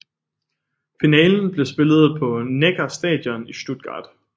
Finalen blev spillet på Neckar Stadion i Stuttgart